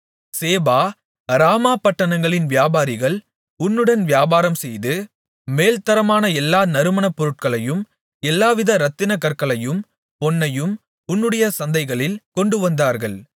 சேபா Raamah பட்டணங்களின் வியாபாரிகள் உன்னுடன் வியாபாரம் செய்து மேல்த்தரமான எல்லாவித நறுமணப்பொருட்களையும் எல்லாவித இரத்தினக்கற்களையும் பொன்னையும் உன்னுடைய சந்தைகளில் கொண்டுவந்தார்கள்